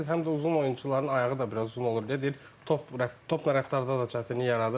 Həm də uzun oyunçuların ayağı da biraz uzun olur deyə deyir top topa rəftarda da çətinlik yaradırmı?